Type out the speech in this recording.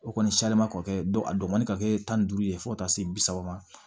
O kɔni a dɔgɔnin ka kɛ tan ni duuru ye fo ka taa se bi saba ma